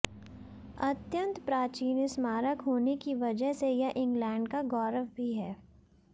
अत्यंत प्राचीन स्मारक होने की वजह से यह इंग्लैंड का गौरव भी है